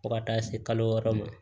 Fo ka taa se kalo wɔɔrɔ ma